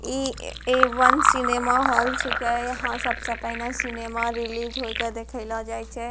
इ ऐ वन सिनिमा हॉल छिके यहाँ सबसे पहने सिनिमा रिलीज होए के दिखेलो जाय छै।